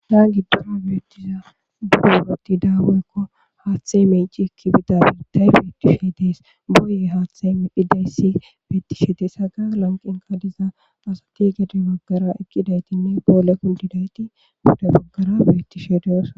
naan giddorao biettiza durageti daawewekko haaththey meici ekki bida birday beetishe dees boye haaththe dhidayssi beettishe dees haga lanqinkadiza asati gedi baggara ekidaytinne poole kundidayti guda baggara beetishe dees